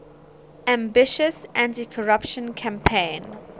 ambitious anticorruption campaign